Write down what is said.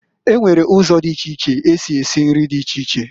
E nwere uzo di iche iche esi esi nri di iche iche.